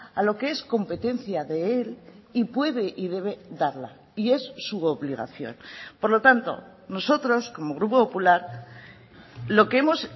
a lo que es competencia de él y puede y debe darla y es su obligación por lo tanto nosotros como grupo popular lo que hemos